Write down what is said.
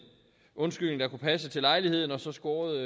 undskyldning der kunne passe til lejligheden og så score